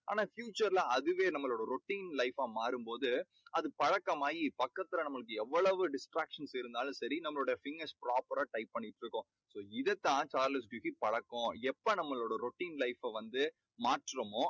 ஆனா, future ல அதுவே நம்மளோட routine life ஆ மாறும் போது அது பழக்கமாகி பக்கத்துல நமக்கு எவ்வளவு distraction இருந்தாலும் சரி நம்மளோட fingers proper ரா type பண்ணிட்டுருக்கும். so இதைத் தான் சார்லஸ் டிக்கின்ஸ் பழக்கம். எப்போ நம்ப routine life அ வந்து மாற்றுமோ